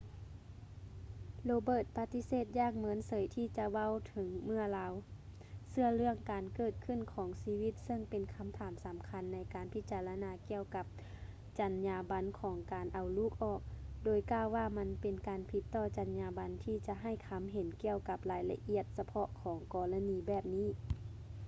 roberts ປະຕິເສດຢ່າງເມີນເສີຍທີ່ຈະເວົ້າເຖິງເມື່ອລາວເຊື່ອເລື່ອງການເກີດຂຶ້ນຂອງຊີວິດເຊິ່ງເປັນຄຳຖາມສຳຄັນໃນການພິຈາລະນາກ່ຽວກັບຈັນຍາບັນຂອງການເອົາລູກອອກ ໂດຍກ່າວວ່າມັນເປັນການຜິດຕໍ່ຈັນຍາບັນທີ່ຈະໃຫ້ຄຳເຫັນກ່ຽວກັບລາຍລະອຽດສະເພາະຂອງກໍລະນີແບບນີ້